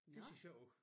Det ser sjovt ud